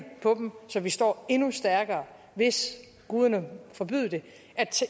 på dem så vi står endnu stærkere hvis guderne forbyde det